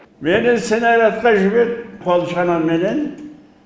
мені снарядқа жіберді қол шанаменен